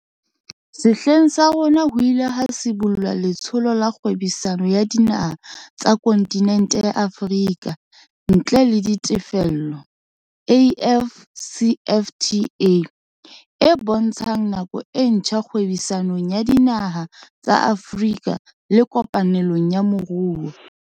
Sehleng sa rona ho ile ha sibollwa Letsholo la Kgwebisano ya Dinaha tsa Kontinente ya Afrika ntle le Ditefello, AFCFTA, e bontshang nako e ntjha kgwebisanong ya dinaha tsa Afrika le kopanelong ya moruo.